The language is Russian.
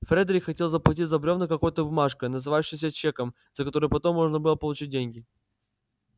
фредерик хотел заплатить за бревна какой-то бумажкой называвшейся чеком за которую потом можно было получить деньги